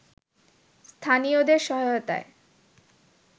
স্থানীয়দের সহায়তায়